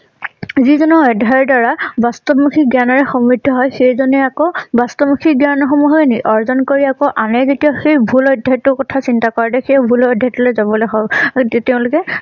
যি জনৰ অধ্যায় দ্বাৰা বাস্তবমুখী জ্ঞানেৰে সমৃদ্ধ হয় সেই জনেই আকৌ বাস্তবমুখী জ্ঞান সমূহ হয় নে অৰ্জন কৰি আকৌ এনে যেতিয়া সেই ভুল অধ্যায়টোৰ কথা চিন্তা কৰে দে সেই ভুল অধ্যায় টো লৈ যাবলৈ হয় আৰু তেওঁলোকে